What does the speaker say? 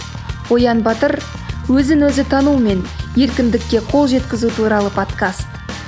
оян батыр өзін өзін тану мен еркіндікке қол жеткізу туралы подкаст